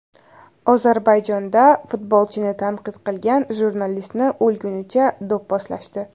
Ozarbayjonda futbolchini tanqid qilgan jurnalistni o‘lgunicha do‘pposlashdi.